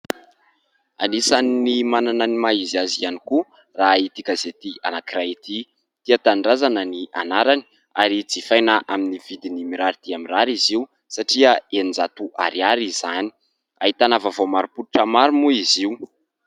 Anisan'ny manana ny maha izy azy ihany koa raha ity gazety anankiray ity, Tia Tanindrazana ny anarany ary jifaina amin'ny vidiny mirary dia mirary izy io satria eninjato ariary izany. Ahitana vaovao marim-pototra maro moa izy io.